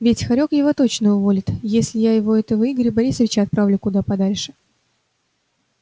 ведь хорёк его точно уволит если я его этого игоря борисовича отправлю куда подальше